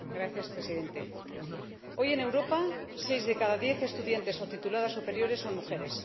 Señor Presidente, hoy, en Europa, seis de cada diez estudiantes o tituladas superiores son mujeres.